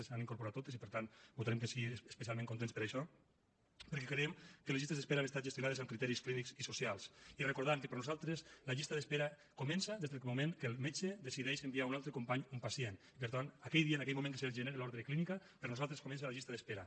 les han incorporat totes i per tant votarem que sí especialment contents per això perquè creiem que les llistes d’esperes han estat gestionades amb criteris clínics i socials i recordant que per nosaltres la llista d’espera comença des del moment que el metge decideix enviar a un altre company un pacient i per tant aquell dia en aquell moment que es genera l’ordre clínica per nosaltres comença la llista d’espera